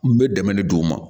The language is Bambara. N bɛ dɛmɛ de d'u ma